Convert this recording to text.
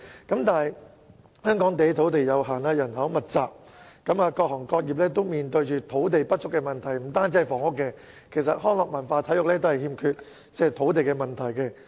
可是，香港土地有限，人口密集，各行各業均面對土地不足的問題；不單房屋，其實康樂、文化及體育活動場地均面對欠缺土地的問題。